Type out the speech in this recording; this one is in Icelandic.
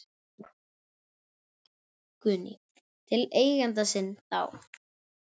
Guðný: Til eigenda sinna þá?